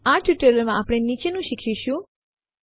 આ ટયુટોરિઅલમાં આપણે નીચેનું શીખીશું